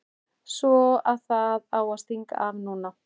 Svo að það á að stinga af núna!